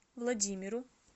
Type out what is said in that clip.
владимиру